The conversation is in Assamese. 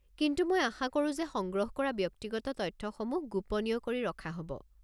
কিন্তু মই আশা কৰো যে সংগ্ৰহ কৰা ব্যক্তিগত তথ্যসমূহ গোপনীয় কৰি ৰখা হ'ব।